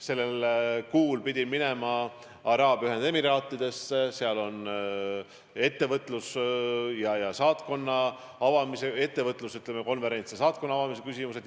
Sellel kuul pidin minema Araabia Ühendemiraatidesse, kus on ettevõtluskonverents ja saatkonna avamise küsimused.